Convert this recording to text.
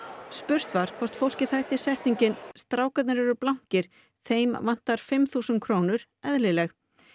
spurt var hvort fólki þætti setningin strákarnir eru blankir þeim vantar fimm þúsund krónur eðlileg